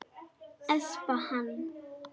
Espa hann.